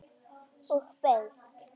Og beið.